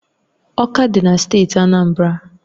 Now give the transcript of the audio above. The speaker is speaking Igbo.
Ọka dị na steeti Anambra